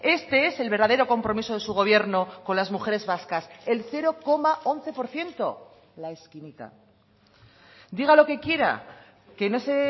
este es el verdadero compromiso de su gobierno con las mujeres vascas el cero coma once por ciento la esquinita diga lo que quiera que no se